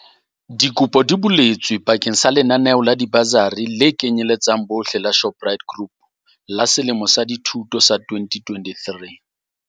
Dikopo di buletswe ba keng sa lenaneo la dibasari le kenyeletsang bohle la Shoprite Group la selemo sa dithuto sa 2023.